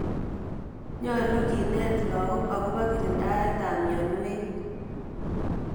Nyalu kenet lagok akopo kirindaet ap mianwek.